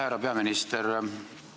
Härra peaminister!